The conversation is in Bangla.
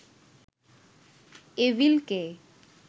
এভিল কে